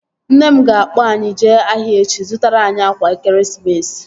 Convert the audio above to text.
Nne m ga-akpọ anyị jee ahịa echi ị zụtara anyị akwa ekeresimesi